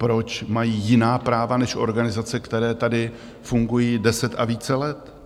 Proč mají jiná práva než organizace, které tady fungují deset a více let?